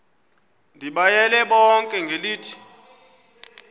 ndibayale bonke ngelithi